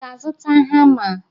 Ị ga-azụta hama?